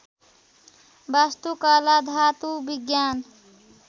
वास्तुकला धातु विज्ञान